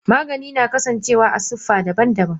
Magani na kasan cewa a sifa daban daban.